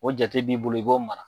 O jate b'i bolo i b'o mara.